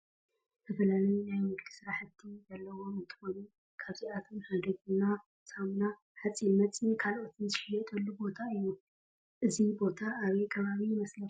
ዝተፈላለዩ ናይ ንግዲ ስራሕቲ ዘለዎ እንትኮኑ ካብአቶም ሓደ ቡና፣ ሳሙና፣ ሓፂን መፂን ካልኦትን ዝሽየጥሉ ቦታ እዩ። እዚ ቦታ አበይ ከባቢ ይመሰለኩም ?